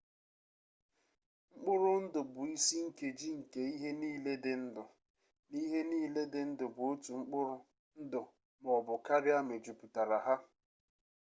mkpụrụ ndụ bụ isi nkeji nke ihe niile dị ndụ na ihe niile dị ndụ bụ otu mkpụrụ ndụ ma ọ bụ karịa mejupụtara ha